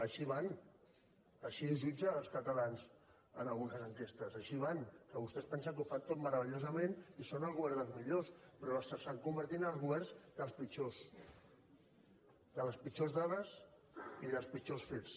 així van així ho jutgen els catalans en algunes enquestes així van que vostès es pensen que ho fan tot meravellosament i són el govern dels millors però s’estan convertint en el govern dels pitjors de les pitjors dades i dels pitjors fets